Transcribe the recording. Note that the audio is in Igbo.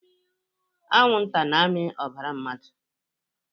Anwụ nta na-amị ọbara mmadụ